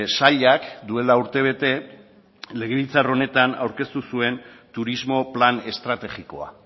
sailak duela urtebete legebiltzar honetan aurkeztu zuen turismo plan estrategikoa